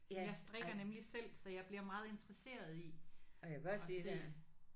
Jeg strikker nemlig selv så jeg bliver meget interesseret i at se